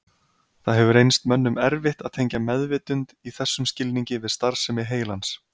Það hefur reynst mönnum erfitt að tengja meðvitund í þessum skilningi við starfsemi heilans.